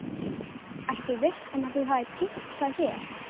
Ertu viss um að þú hafir týnt þá hér?